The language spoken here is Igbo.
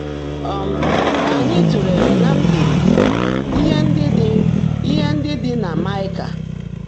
um Kà ányị́ tụ́leèlé ná mkpìríkpi íhe ndị́ ḍị́ íhe ndị́ ḍị́ nà Máịkà.